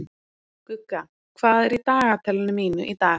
Gugga, hvað er í dagatalinu mínu í dag?